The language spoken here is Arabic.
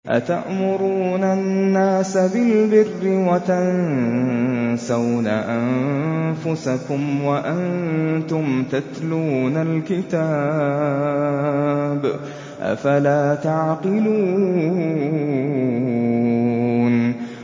۞ أَتَأْمُرُونَ النَّاسَ بِالْبِرِّ وَتَنسَوْنَ أَنفُسَكُمْ وَأَنتُمْ تَتْلُونَ الْكِتَابَ ۚ أَفَلَا تَعْقِلُونَ